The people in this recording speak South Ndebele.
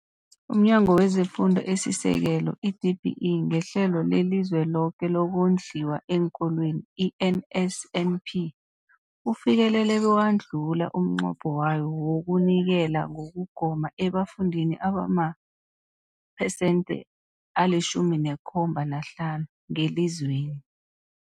UmNyango wezeFundo esiSekelo, i-DBE, ngeHlelo leliZweloke lokoNdliwa eenKolweni, i-NSNP, ufikelele bewadlula umnqopho wawo wokunikela ngokugoma ebafundini abamaphesenthe ali-17 na-5 ngelizweni.